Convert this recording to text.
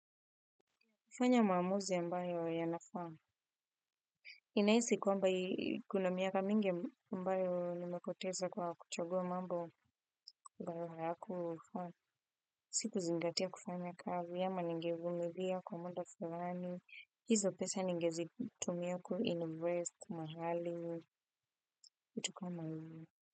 Kufanya maamuzi ambayo yanafaa. Ninahisi kwamba kuna miaka mingi ambayo nimepoteza kwa kuchagua mambo ambayo hayakunifaa. Sikuzingatia kufanya kazi ama ningevumilia kwa muda fulani. Hizo pesa ningezitumia ku invest mahali. Kitu kama hiyo.